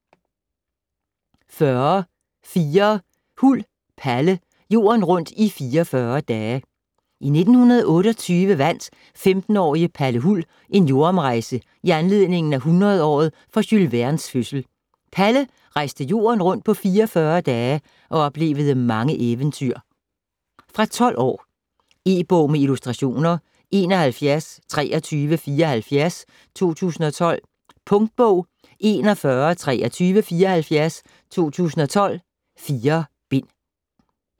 40.4 Huld, Palle: Jorden rundt i 44 dage I 1928 vandt 15-årige Palle Huld en jordomrejse i anledning af 100-året for Jules Vernes fødsel. Palle rejste jorden rundt på 44 dage og oplevede mange eventyr. Fra 12 år. E-bog med illustrationer 712374 2012. Punktbog 412374 2012. 4 bind.